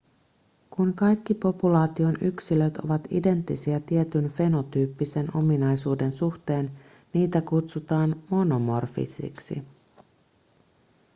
kun kaikki populaation yksilöt ovat identtisiä tietyn fenotyyppisen ominaisuuden suhteen niitä kutsutaan monomorfisiksi